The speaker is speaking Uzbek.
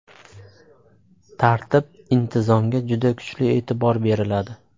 Tartib, intizomga juda kuchli e’tibor beriladi.